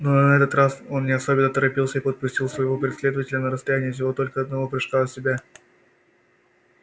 но на этот раз он не особенно торопился и подпустил своего преследователя на расстояние всего только одного прыжка от себя